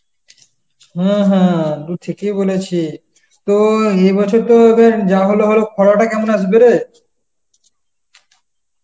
হ্যাঁ হ্যাঁ, তু ঠিকই বলেছিস. তো এবছর তো তোর যা হওয়ার হলো, খরাটা কেমন আসবে রে?